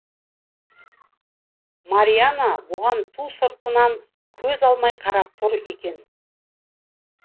мариана бұған ту сыртынан көз алмай қарап тұр екен